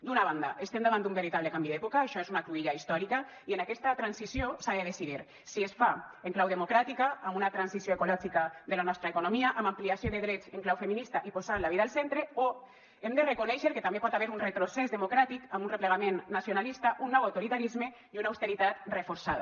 d’una banda estem davant d’un veritable canvi d’època això és una cruïlla històrica i en aquesta transició s’ha de decidir si es fa en clau democràtica amb una transició ecològica de la nostra economia amb ampliació de drets en clau feminista i posant la vida al centre o hem de reconèixer que també hi pot haver un retrocés democràtic amb un replegament nacionalista un nou autoritarisme i una austeritat reforçada